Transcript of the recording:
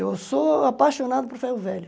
Eu sou apaixonado por ferro velho.